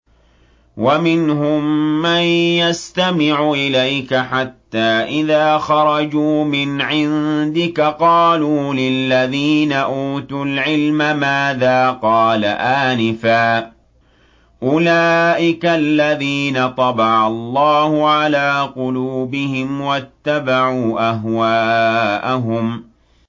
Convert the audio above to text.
وَمِنْهُم مَّن يَسْتَمِعُ إِلَيْكَ حَتَّىٰ إِذَا خَرَجُوا مِنْ عِندِكَ قَالُوا لِلَّذِينَ أُوتُوا الْعِلْمَ مَاذَا قَالَ آنِفًا ۚ أُولَٰئِكَ الَّذِينَ طَبَعَ اللَّهُ عَلَىٰ قُلُوبِهِمْ وَاتَّبَعُوا أَهْوَاءَهُمْ